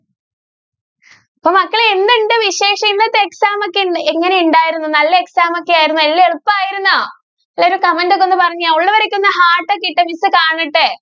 മക്കളെ എന്തുണ്ട് വിശേഷം ഇന്നത്തെ exam ഒക്കെ എങ്ങനെ ഉണ്ടായിരുന്നു നല്ല exam ഒക്കെ ആയിരുന്നോ. എല്ലാം എളുപ്പായിരുന്നോ? comment ഒക്കെ ഒന്നു പറഞ്ഞേ. ഉള്ളവരൊക്കെ ഒന്ന് heart ഒക്കെ ഇട്ടെ miss കാണട്ടെ.